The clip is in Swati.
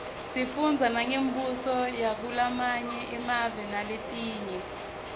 sifundza nangembuso yakulamanye emave naletinye